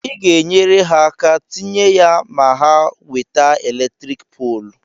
ị ga-enyere ha aka tinye ya ma ha nweta eletrik polu